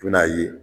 I bɛn'a ye